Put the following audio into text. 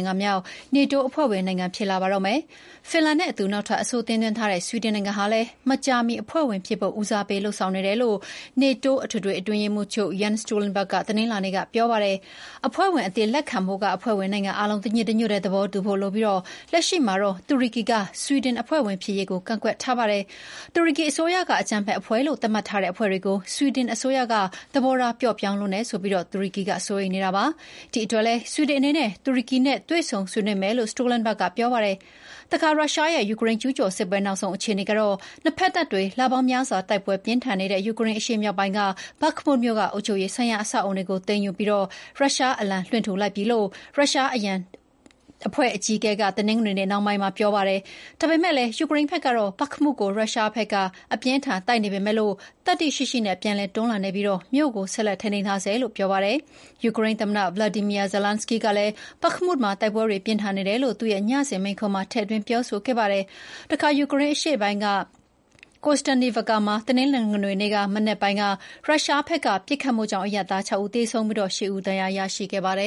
င်ငံမြောက် နေတိုးအဖွဲ့ဝင် တရားဝင်ဖြစ်လာပါတော့မယ်။ ဖင်လန်နဲ့အတူ နောက်ထပ် အဆိုတင်သွင်းထားတဲ့ ဆွီဒင်နိုင်ငံဟာလည်း မကြာမီ အဖွဲ့ဝင်ဖြစ်ဖို့ ဦးစားပေးလုပ်ဆောင်နေတယ်လို့ နေတိုး အထွေထွေအတွင်းရေးမှူးချုပ် ယန်း စတောလ် တွန်းဘာ့ဂ်က တနင်္လာနေ့က ပြောလိုက်ပါတယ်။ အဖွဲ့ဝင်အသစ်လက်ခံဖို့က အဖွဲ့ဝင်နိုင်ငံအားလုံးတညီတညွတ်တည်း သဘောတူဖို့ လိုပြီး လက်ရှိမှာတော့ တူရကီက ဆွီဒင်အဖွဲ့ဝင်ဖြစ်ရေးကို ကန့်ကွက်ထားပါတယ်။ တူရကီအစိုးရက အကြမ်းဖက်အဖွဲ့လို့ သတ်မှတ်ထားတဲ့အဖွဲ့တွေကို ဆွီဒင်အစိုးရက သဘောထားပျော့ပြောင်းလွန်းတယ်ဆိုပြီး တူရကီကစိုးရိမ်နေတာပါ။ ဒီ့အတွက်လည်း ဆွီဒင်အနေနဲ့ တူရကီနဲ့ တွေ့ဆုံဆွေးနွေးမယ်လို့ စတောလ် တွန်းဘာ့ဂ်က ဆိုပါတယ်။ တခါ ရုရှားရဲ့ယူကရိန်း ကျူးကျော်စစ်ပွဲ နောက်ဆုံးအခြေအနေကတော့ နှစ်ဘက် တပ်တွေ လပေါင်းများစွာတိုက်ပွဲတွေပြင်းထန်နေတဲ့ ယူကရိန်းအရှေ့ပိုင်းက ဘက်မုမြို့ က အုပ်ချုပ်ရေးဆိုင်ရာ အဆောက်အအုံတွေကိုသိမ်းယူပြီး ရုရှားအလံလွှင့်ထူလိုက်ပြီလို့ ရုရှားအရံတပ် ဝဂ္ဂနာအဖွဲ့အကြီးအကဲက တနင်္ဂနွေနေ့ နှောင်းပိုင်းမှာ ပြောပါတယ်။ ဒါပေမယ့် ယူကရိန်းဘက်ကတော့ ဘက်မုကို ရုရှားဘက်က အပြင်းအထန် တိုက်နေပေမယ့် သတ္တိရှိရှိနဲ့ပြန်လည်တွန်းလှန်နေပြီး မြို့ကို ဆက်လက်ထိန်းသိမ်းထားဆဲလို့ ဆိုပါတယ်။ ယူကရိန်းသမ္မတ ဗလော်ဒီမီယာ ဇလန်းစကီးကလည်း ဘက်မုမှာ တိုက်ပွဲတွေပြင်းထန်နေတယ်လို့ သူ့ရဲ့ ညစဉ်မိန့်ခွန်းမှာ ထည့်သွင်း ပြောခဲ့ပါတယ်။ တခါ ယူကရိန်းအရှေ့ပိုင်း၊ ကိုစတန်းနိဗ်ကာ (Kostiantynivka) မှာ တနင်္ဂနွေနေ့ မနက်ပိုင်းက ရုရှားဘက်ကပစ်ခတ်မှုကြောင့် အရပ်သား ၆ ဦးသေဆုံးပြီး ၈ ဦး ဒဏ်ရာရရှိခဲ့ပါတယ